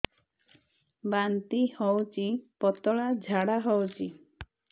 ବାନ୍ତି ହଉଚି ପତଳା ଝାଡା ହଉଚି